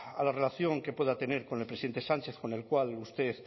a la relación que pueda tener con el presidente sánchez con el cual usted